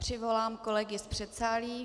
Přivolám kolegy z předsálí.